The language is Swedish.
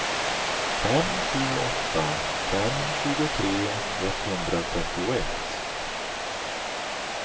fem sju åtta fem tjugotre etthundratrettioett